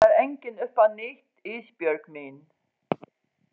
Það byrjar enginn upp á nýtt Ísbjörg mín.